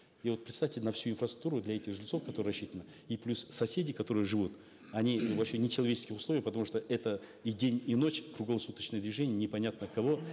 и вот представьте на всю инфраструктуру для этих жильцов которая рассчитана и плюс соседи которые живут они вообще в нечеловеческих условиях потому что это и день и ночь круглосуточное движение непонятно от кого